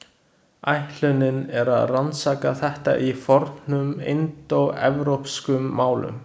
Ætlunin er að rannsaka þetta í fornum indóevrópskum málum.